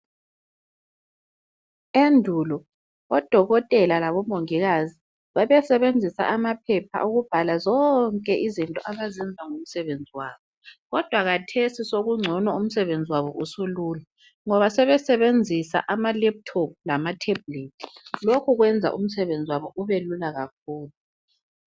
Endulo odokotela labomongikazi babesebenzisa amaphepha ukubhala zonke izinto abazenza ngomsebenzi wabo. Kodwa kathesi sokungcono umsebenzi wabo usulula ngoba sebesebenzisa ama "laptop" lama"tablet".Lokho kwenza umsebenzi wabo ubelula.